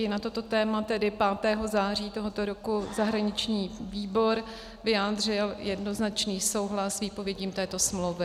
I na toto téma tedy 5. září tohoto roku zahraniční výbor vyjádřil jednoznačný souhlas s výpovědí této smlouvy.